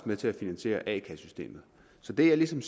med til at finansiere a kassesystemet så det jeg ligesom